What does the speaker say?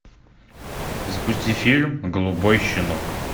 запусти фильм голубой щенок